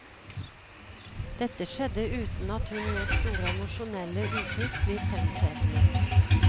Dette skjedde uten at hun lot store emosjonelle uttrykk bli fremtredende.